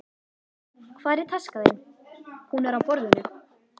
Hvar er taskan þín? Hún er á borðinu.